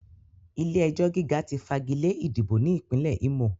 Ilé-ẹjọ̀ gíga ti fagilé ìdìbò ní Ìpínlẹ̀ Ímò